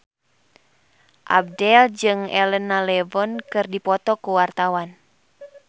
Abdel jeung Elena Levon keur dipoto ku wartawan